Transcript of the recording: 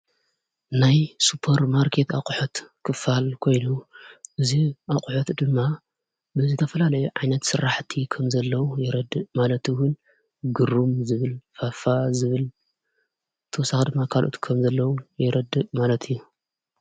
ናይ ሱፐር ማርኬት ኣቝሖት ክፋል ኮይኑ እዝ ኣቝሐት ድማ ብዝተፈላለ ዓይነት ሠራሕቲ ኸም ዘለዉ ይረድእ ማለቲ ውን ግሩም ዝብል ፋፋ ዝብል ተሳድሚ ካልኦት ከም ዘለዉ የረድእ ማለትእዩ።